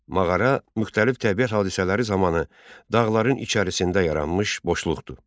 Mağara müxtəlif təbii hadisələri zamanı dağların içərisində yaranmış boşluqdur.